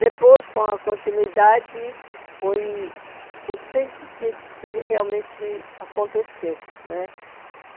Depois, com a continuidade, foi... não sei o que o que realmente aconteceu né.